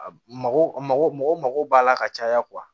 Mago mago mɔgɔw mako b'a la ka caya